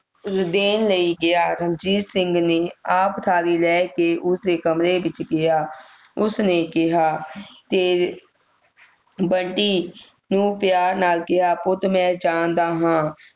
ਦੇਣ ਲਈ ਗਿਆ ਰਣਜੀਤ ਸਿੰਘ ਨੇ ਆਪ ਥਾਲੀ ਲੈ ਕੇ ਉਸ ਦੇ ਕਮਰੇ ਵਿਚ ਗਿਆ ਉਸ ਨੇ ਕਿਹਾ ਤੇਰ ਬੰਟੀ ਨੂੰ ਪਿਆਰ ਨਾਲ ਕਿਹਾ ਪੁੱਟ ਮੈਂ ਜਾਣਦਾ ਹਾਂ